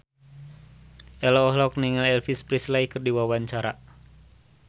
Ello olohok ningali Elvis Presley keur diwawancara